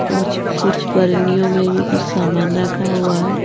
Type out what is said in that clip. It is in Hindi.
और कुछ वर्णियों में भी कुछ सामान रखा हुआ है।